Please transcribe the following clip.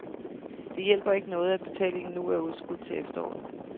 Det hjælper ikke noget, at betalingen nu er udskudt til efteråret.